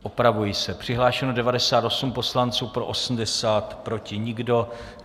Opravuji se: Přihlášeno 98 poslanců, pro 80, proti nikdo.